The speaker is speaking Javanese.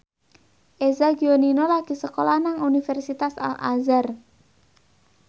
Eza Gionino lagi sekolah nang Universitas Al Azhar